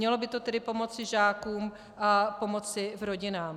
Mělo by to tedy pomoci žákům a pomoci rodinám.